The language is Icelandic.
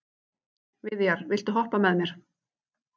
Viðjar, viltu hoppa með mér?